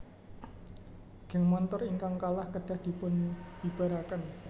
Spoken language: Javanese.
Geng montor ingkang kalah kedah dipun bibaraken